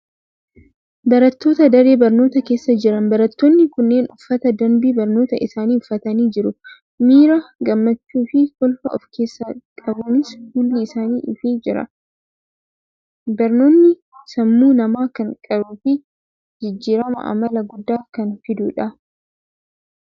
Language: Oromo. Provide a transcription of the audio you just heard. Barattoota daree barnootaa keessa jiran. Barattoonni kunneen uffata danbii barnootaa isaanii uffatanii jiru. Miira gammachuu fi kolfa ofkeessaa qabuunis fuulli isaanii ifee jira. Barnoonni sammuu namaa kan qaruu fi jijjiiramaa amalaa guddaa kan fidudha.